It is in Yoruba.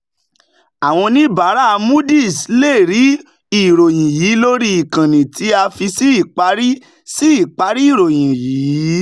àwọn oníbàárà moody's lè rí ìròyìn yìí lórí ìkànnì tí a fi sí ìparí sí ìparí ìròyìn yìí.